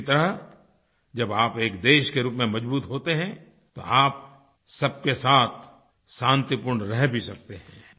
इसी तरह जब आप एक देश के रूप में मजबूत होते हैं तो आप सब के साथ शांतिपूर्ण रह भी सकते हैं